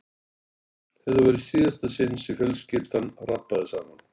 Þetta var í síðasta sinn sem fjölskyldan rabbaði saman.